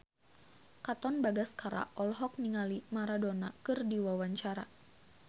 Katon Bagaskara olohok ningali Maradona keur diwawancara